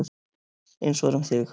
Eins var um þig.